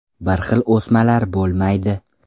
Bir xil o‘smalar bo‘lmaydi.